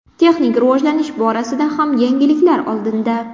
Texnik rivojlanish borasida ham yangiliklar oldinda.